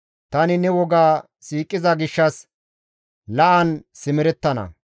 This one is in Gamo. Tani ne woga siiqiza gishshas la7an simerettana.